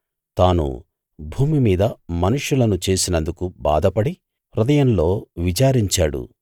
తాను భూమిమీద మనుషులను చేసినందుకు బాధపడి హృదయంలో విచారించాడు